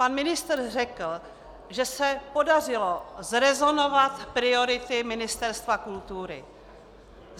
Pan ministr řekl, že se podařilo zrezonovat priority Ministerstva kultury.